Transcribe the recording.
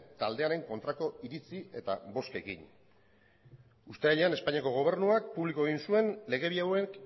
taldearen kontrako iritzi eta bozkekin uztailean espainiako gobernuak publiko egin zuen legedia hauek